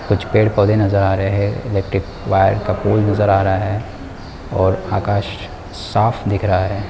कुछ पेड-पौधे नज़र आ रहे है इलेक्ट्रिक वायर का पोल नज़र आ रहा है और आकाश साफ दिख रहा है।